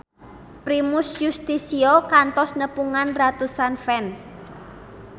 Primus Yustisio kantos nepungan ratusan fans